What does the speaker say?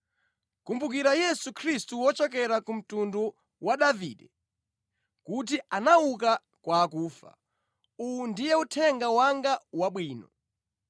Kumbukira Yesu Khristu wochokera ku mtundu wa Davide kuti anauka kwa akufa. Uwu ndiye uthenga wanga wabwino